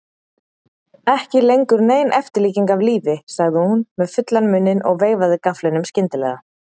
Ekki lengur nein eftirlíking af lífi, sagði hún með fullan munninn og veifaði gafflinum skyndilega.